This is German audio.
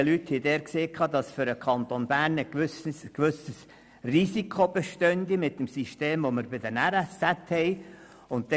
Die dort zuständigen Leute sagten, für den Kanton Bern bestünde ein gewisses Risiko wegen des Systems bei den Regionalen Spitalzentren (RSZ).